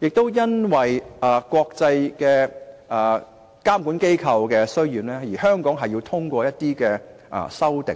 亦是因應國際監管機構的要求，對《稅務條例》作出一些修訂。